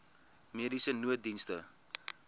mediese nooddienste